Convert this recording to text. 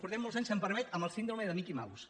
portem molts anys si em permet amb la síndrome de mickey mouse